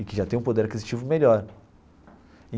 E que já tem um poder aquisitivo melhor.